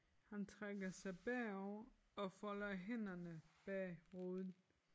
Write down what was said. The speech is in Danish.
Han trækker sig bagover og folder hænderne bag hovedet